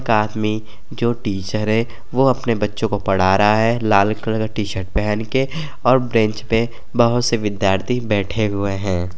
में जो टीचर हैवो अपने बच्चों को पढ़ा रहा है लाल कलर का टीशर्ट पहन कर और ब्रेंच पे बहोत से विद्दार्थी बैठे हुए हैं।